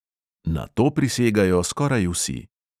Na to prisegajo skoraj vsi.